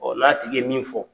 n'a tigi ye min fɔ.